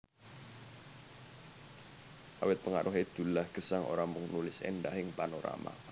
Awit pengaruhé Dullah Gesang ora mung nulis éndahing panorama